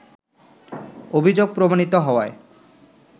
অভিযোগ প্রমাণিত হওয়ায়